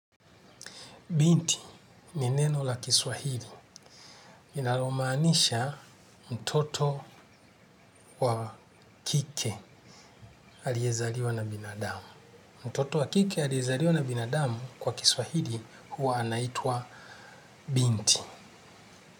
Binti, ni neno la kiswahili, linalo maanisha mtoto wa kike aliye zaliwa na binadamu. Mtoto wa kike aliyezaliwa na binadamu kwa kiswahili huwa anaitwa binti.